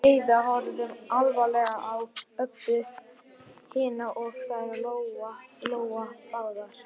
Heiða horfði alvarlega á Öbbu hina og þær Lóa Lóa báðar.